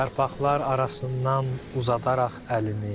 Yarpaqlar arasından uzadaraq əlini.